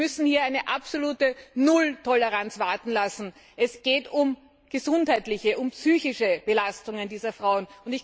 Wir müssen hier eine absolute Nulltoleranz walten lassen, es geht um gesundheitliche, um psychische Belastungen dieser Frauen.